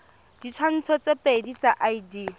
ditshwantsho tse pedi tsa id